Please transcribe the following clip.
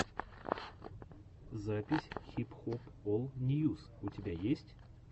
запись хип хоп ол ньюс у тебя есть